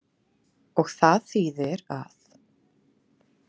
Og það þýðir að.